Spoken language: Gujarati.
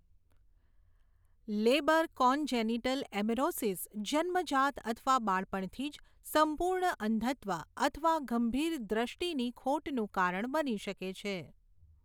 લેબર કોનજેનિટલ એમેરોસિસ જન્મજાત અથવા બાળપણથી જ સંપૂર્ણ અંધત્વ અથવા ગંભીર દૃષ્ટિની ખોટનું કારણ બની શકે છે.